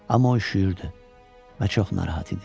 Amma o üşüyürdü və çox narahat idi.